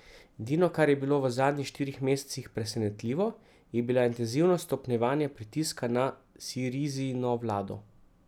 Edino, kar je bilo v zadnjih štirih mesecih presenetljivo, je bila intenzivnost stopnjevanja pritiska na Sirizino vlado.